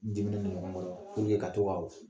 N diminen don ɲɔgɔn kɔrɔ purike ka to ka o